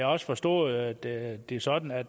også forstået at det er sådan at